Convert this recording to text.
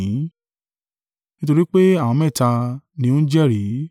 Nítorí pé àwọn mẹ́ta ni ó ń jẹ́rìí.